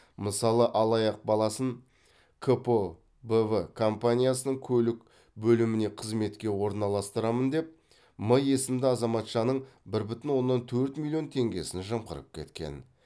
мысалы алаяқ баласын кпо б в компаниясының көлік бөліміне қызметке орналастырамын деп м есімді азаматшаның бір бүтін оннан төрт миллион теңгесін жымқырып кеткен